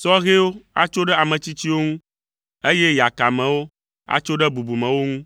sɔhɛwo atso ɖe ame tsitsiwo ŋu, eye yakamewo atso ɖe bubumewo ŋu.